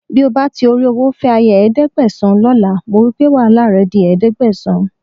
Bí o bá ti ìtorí owó fẹ́ aya ẹ̀ẹ́dẹ́gbẹ̀sán lọ́la, mo wí pé wàhálà rẹ di ẹ̀ẹ́dẹ́gbẹ̀sán